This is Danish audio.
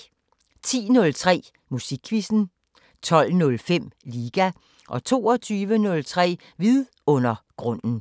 10:03: Musikquizzen 12:05: Liga 22:03: Vidundergrunden